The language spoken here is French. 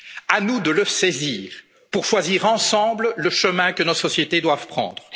l'humanité. À nous de le saisir pour choisir, ensemble, le chemin que nos sociétés doivent